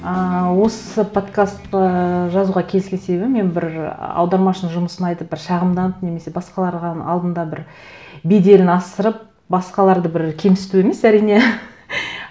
ыыы осы подкастты жазуға келіскен себебім мен бір аудармашының жұмысын айтып бір шағымданып немесе басқаларға алдында бір беделін асырып басқаларды бір кемсіту емес әрине